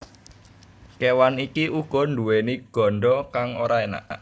Kéwan iki uga nduwèni ganda kang ora enak